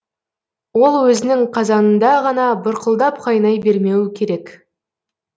ол өзінің қазанында ғана бұрқылдап қайнай бермеуі керек